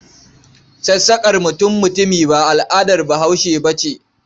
Sassaƙa mutum-mutumi ba al'adar Bahaushe ba ce.